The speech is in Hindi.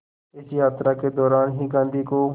इस यात्रा के दौरान ही गांधी को